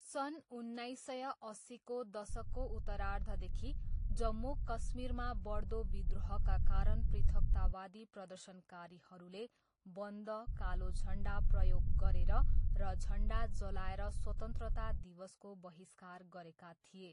सन् उन्नाइस सय अस्सीको दशकको उत्तरार्धदेखि जम्मू कश्मीरमा बढ्दो विद्रोहका कारण पृथकतावादी प्रदर्शनकारीहरूले बन्द, कालो झन्डा प्रयोग गरेर र झन्डा जलाएर स्वतन्त्रता दिवसको बहिष्कार गरेका थिए।